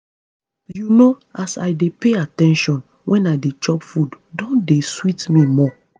you know as i dey pay at ten tion when i dey chop food don dey sweet me more